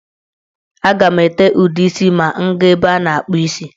A ga m ete ude isi ma m gaa n'ebe a na-akpụ isi.